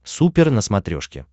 супер на смотрешке